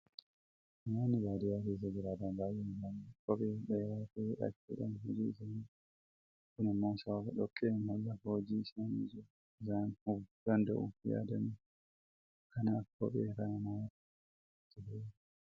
Namoonni baadiyyaa keessa jiraatan baay'een isaanii kophee ol dheeraa ta'e hidhachuudhaan hojii isaanii hojjetu. Kun immoo sababa dhoqqeen lafa hojii isaanii jiru isaan hubuu danda'uuf yaadameetu. Kanaaf kophee kana namoota baay'eetu itti fayyadama.